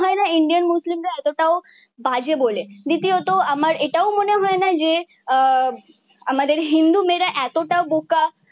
এরা এতটাও বাজে বলে দ্বিতীয়ত আমার এটাও মনে হয়না যে আহ আমাদের হিন্দু মেয়েরা এতটা বোকা